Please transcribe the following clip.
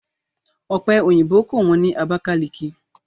Ọ̀pe òyìnbó kò wọ́n ní ọjà Abakaliki